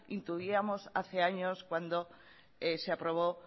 intuíamos hace años cuando se aprobó